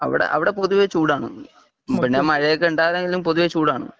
അവിടെ പൊതുവേ ചൂട് ആണ് പിന്നെ മഴ ഒക്കെ ഉണ്ടാകുമെങ്കിലും പൊതുവേ ചൂടേ ആണ്